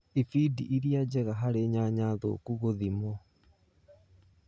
Ibindi iria njega harĩ nyanya thũku gũthimwo.